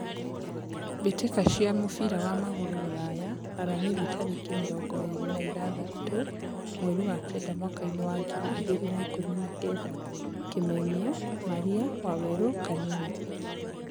mbĩ tĩ ka cia mũbira wa magũrũ Ruraya Aramithi tarĩ ki mĩ rongo ĩ rĩ na igathatũ mweri wa kenda mwakainĩ wa ngiri igĩ rĩ na ikũmi na kenda: Kimemia, Maria, Waweru, Kanini.